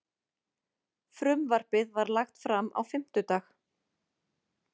Frumvarpið var lagt fram á fimmtudag